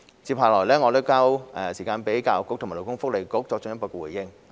接下來我將時間交給教育局和勞工及福利局作進一步回應。